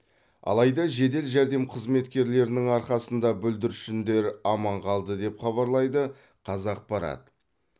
алайда жедел жәрдем қызметкерлерінің арқасында бүлдіршіндер аман қалды деп хабарлайды қазақпарат